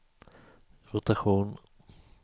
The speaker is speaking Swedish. rotation